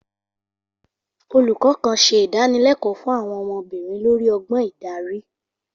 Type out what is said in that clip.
Olùkọ́ kan ṣe ìdánilẹ́kọ̀ọ́ fún àwọn ọmọbìnrin lórí ọgbọ́n ìdarí.